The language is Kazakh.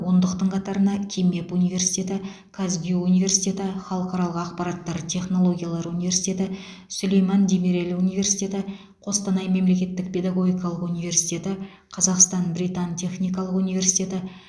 ондықтың қатарына кимэп университеті казгюу университеті халықаралық ақпараттар технологиялар университеті сүлейман демирел университеті қостанай мемлекеттік педагогикалық университеті қазақстан британ техникалық университеті